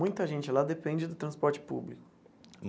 Muita gente lá depende do transporte público.